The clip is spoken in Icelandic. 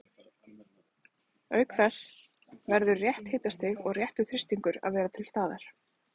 Auk þess verður rétt hitastig og réttur þrýstingur að vera til staðar.